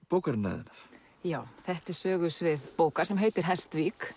bókarinnar þinnar já þetta er sögusvið bókar sem heitir